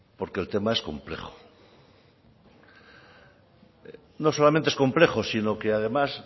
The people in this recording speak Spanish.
porque el tema es complejo no solamente es complejo sino que además